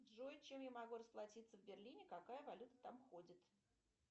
джой чем я могу расплатиться в берлине какая валюта там ходит